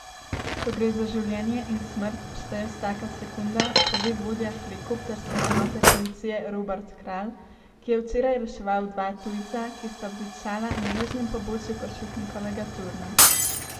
Ko gre za življenje in smrt, šteje vsaka sekunda, pove vodja helikopterske enote policije Robert Kralj, ki je včeraj reševal dva tujca, ki sta obtičala na južnem pobočju Košutnikovega turna.